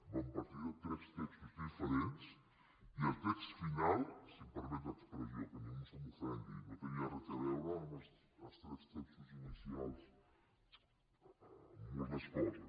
vam partir de tres textos diferents i el text final si em permet l’expressió que ningú se m’ofengui no tenia res a veure amb els tres textos inicials en moltes coses